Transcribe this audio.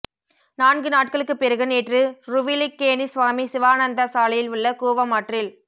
நான்கு நாட்களுக்குப் பிறகு நேற்று ருவல்லிக்கேணி சுவாமி சிவானந்தா சாலையில் உள்ள கூவம் ஆற்றில்